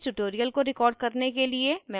इस tutorial को record करने के लिए मैं उपयोग कर रही हूँ